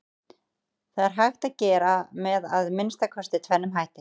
Það er hægt að gera með að minnsta kosti tvennum hætti.